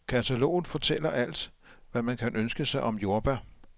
Kataloget fortæller alt, hvad man kan ønske sig om jordbær.